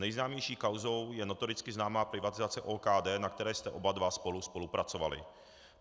Nejznámější kauzou je notoricky známá privatizace OKD, na které jste oba dva spolu spolupracovali.